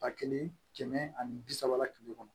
Ba kelen kɛmɛ ani bi saba kile kɔnɔ